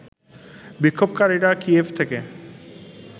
বিক্ষোভকারীরা কিয়েভ থেকে